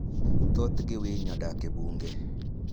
Thothgi winy odak e bunge.